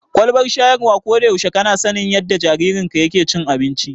Kwalbar shayarwa, ko da yaushe kana sanin yadda jaririnka yake cin abinci.